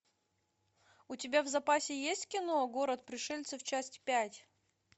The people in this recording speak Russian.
у тебя в запасе есть кино город пришельцев часть пять